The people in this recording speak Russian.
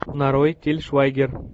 нарой тиль швайгер